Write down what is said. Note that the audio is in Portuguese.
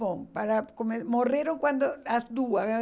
Bom, para come morreram quando as duas.